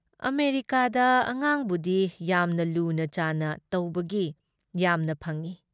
ꯑꯃꯦꯔꯤꯀꯥꯗ ꯑꯉꯥꯡꯕꯨꯗꯤ ꯌꯥꯝꯅ ꯂꯨꯅꯥ ꯆꯥꯟꯅ ꯇꯧꯕꯒꯤ ꯌꯥꯝꯅ ꯐꯪꯏ ꯫